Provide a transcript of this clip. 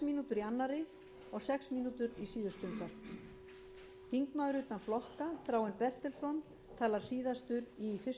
mínútur í síðustu umferð þingmaður utan flokka þráinn bertelsson talar síðastur í fyrstu umferð og hefur sex mínútur röð flokkanna verður